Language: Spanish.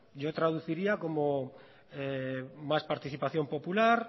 yo traduciría como más participación popular